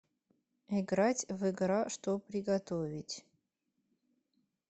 играть в игра что приготовить